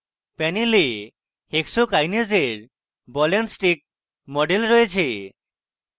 panel hexokinase এর ball and stick model রয়েছে